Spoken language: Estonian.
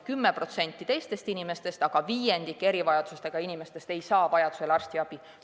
10% teistest inimestest, aga viiendik erivajadustega inimestest ei saa vajaduse korral arstiabi.